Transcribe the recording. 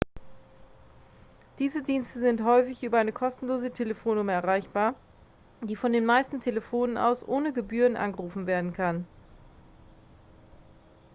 diese dienste sind häufig über eine kostenlose telefonnummer erreichbar die von den meisten telefonen aus ohne gebühren angerufen werden kann